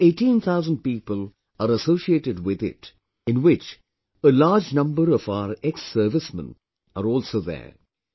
About 18,000 people are associated with it, in which a large number of our ExServicemen are also there